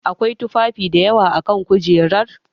Akwai tufafi dayawa a kan kujerar.